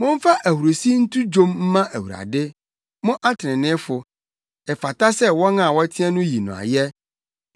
Momfa ahurusi nto dwom mma Awurade, mo atreneefo, ɛfata sɛ wɔn a wɔteɛ no yi no ayɛ.